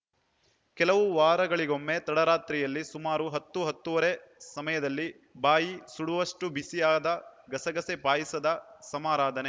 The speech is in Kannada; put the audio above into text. ಕೆಲವು ವಾರಗಳಿಗೊಮ್ಮೆ ತಡರಾತ್ರಿಯಲ್ಲಿ ಸುಮಾರು ಹತ್ತೂಹತ್ತೂವರೆ ಸಮಯದಲ್ಲಿ ಬಾಯಿ ಸುಡುವಷ್ಟುಬಿಸಿಯಾದ ಗಸಗಸೆ ಪಾಯಸದ ಸಮಾರಾಧನೆ